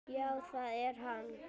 Já, það er hann.